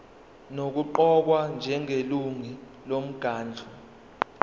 nokuqokwa njengelungu lomkhandlu